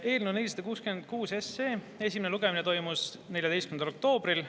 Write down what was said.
Eelnõu 466 esimene lugemine toimus 14. oktoobril.